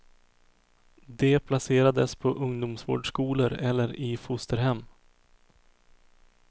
De placerades på ungdomsvårdsskolor eller i fosterhem.